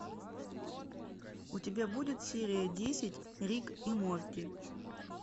у тебя будет серия десять рик и морти